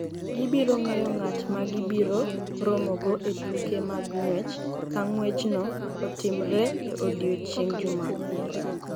Gibiro ng’eyo ng’at ma gibiro romogo e tuke mag ng’wech ka ng’wechno otimre e odiechieng’ Jumapil saa 12:00 GMT.